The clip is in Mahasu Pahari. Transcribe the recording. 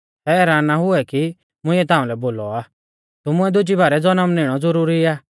हैरान ना हुऐ कि मुंइऐ ताउंलै बोलौ आ तुमुऐ दुजी बारै ज़नम निणौ ज़ुरूरी आ